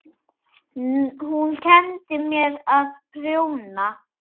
Hún kenndi mér að prjóna.